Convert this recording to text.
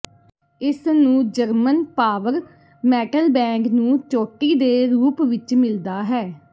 ਇਸ ਨੂੰ German power metal band ਨੂੰ ਚੋਟੀ ਦੇ ਰੂਪ ਵਿਚ ਮਿਲਦਾ ਹੈ